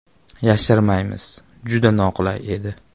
Yashirmaymiz, juda noqulay edi.